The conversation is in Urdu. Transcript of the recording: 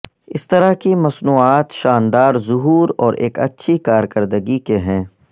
اس طرح کی مصنوعات شاندار ظہور اور ایک اچھی کارکردگی کے ہیں